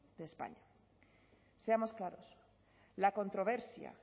de españa seamos claros la controversia